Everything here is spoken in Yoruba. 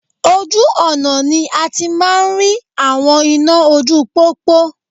Ojú ọ̀nà ni a ti máa ń rí àwọn iná ojú pópó